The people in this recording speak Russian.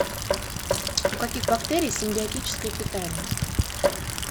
у каких бактерий симбиотическое питание